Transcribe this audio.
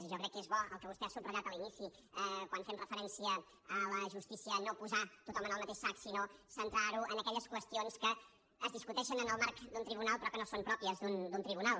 i jo crec que és bo el que vostè ha subratllat a l’inici quan fem referència a la justícia no posar tothom en el mateix sac sinó centrar ho en aquelles qüestions que es discuteixen en el marc d’un tribunal però que no són pròpies d’un tribunal